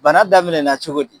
Bana daminɛna cogo di